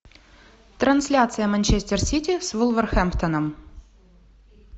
трансляция манчестер сити с вулверхэмптоном